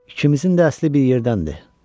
İkimizin də əsli bir yerdəndir.